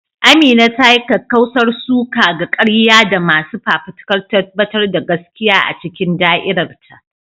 Amina ta yi kakkausar suka ga ƙarya da masu fafutukar tabbatar da gaskiya a cikin da'irar ta.